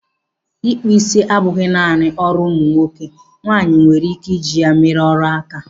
Ị kpụ isi abụghị naanị ọrụ ụmụ nwoke, nwaanyị nwere ike i ji ya mere ọrụ áká.